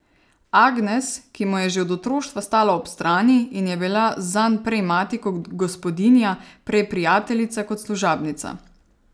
Agnes, ki mu je že od otroštva stala ob strani in je bila zanj prej mati kot gospodinja, prej prijateljica kot služabnica.